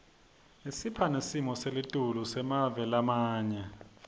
isipha nesimo selitulu semave lamanye